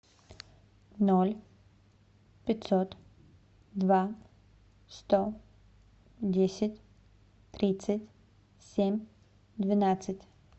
ноль пятьсот два сто десять тридцать семь двенадцать